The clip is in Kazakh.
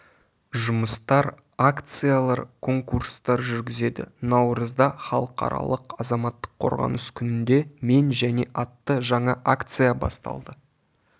жұмыстар акциялар конкурстар жүргізеді наурызда халықаралық азаматтық қорғаныс күнінде мен және атты жаңа акция басталды